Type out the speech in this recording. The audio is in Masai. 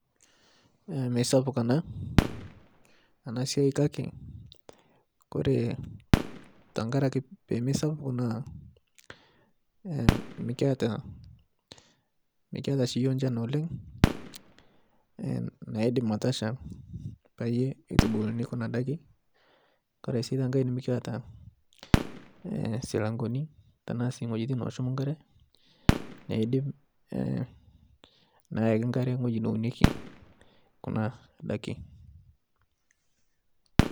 Meisapuk ana siai kake kore tenkaraki pemesapuk naa mikiata shii yuo nchan oleng naidim atasha payie eitubuluni Kuna daki, Kore si tenkae nimikiata silangoni tanaasi ng'ojitin noshum nkare eidim neyaki nkare ng'oji neuneki kuna ndaki